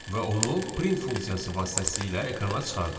Və onu print funksiyası vasitəsilə ekrana çıxardaq.